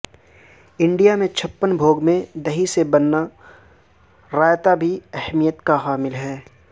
India کے چھپن بھوگ میں دہی سے بنا رائتہ بھی اہمیت کا حامل ہے